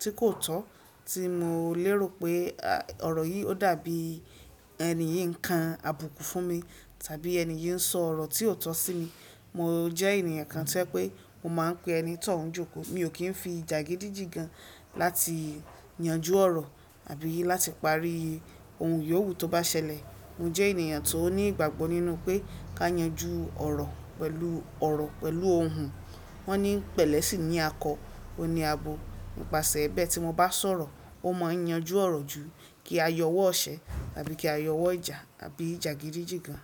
tí kò tọ́, tí mò lérò pé à, ọ̀rọ̀ yìí ó dàbí ènìyí ń ka àbùkù fún mi tàbí ènìyí ń sọ ọ̀rọ̀ tí ò tọ́ sí mi, mo jẹ́ ènìyàn kan ti o jẹ pé mo máa ń pe ẹni tọ̀ún jòkó. Mi ò kí ń fi jàgídíjígan láti yanjú ọ̀rọ̀ àbí láti parí ohun yòówù tó bá ṣẹlẹ̀. Mo jẹ́ ènìyàn tó ní ìgbàgbọ́ nínú pé ká yanjú ọ̀rọ̀ pẹ̀lú ọ̀rọ̀, pẹ̀lú ohùn. Wọ́n ní pẹ̀lẹ́ sì ní akọ, ó ní abo. Nípasẹ̀ bẹ́ẹ̀ tí mo bá sọ̀rọ̀, ó máa ń yanjú ọ̀rọ̀ ju kí a yọwọ́ ọṣẹ àbí kí a yọwọ́ ìjà àbí jàgídíjígan.